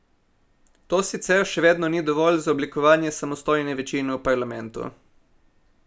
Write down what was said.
To sicer še vedno ni dovolj za oblikovanje samostojne večine v parlamentu.